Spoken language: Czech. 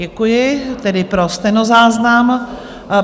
Děkuji, tedy pro stenozáznam.